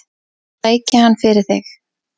Sæki hann fyrir þig.